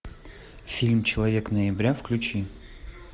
фильм человек ноября включи